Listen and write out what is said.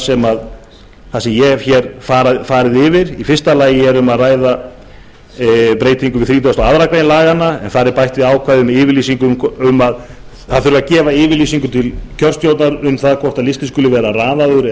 sem ég hef hér farið yfir í fyrsta lagi er um að ræða breytingu við þrítugustu og aðra grein laganna þar er bætt við því ákvæði að gefa þurfi yfirlýsingu til kjörstjórnar um það hvort listinn skuli vera raðaður eða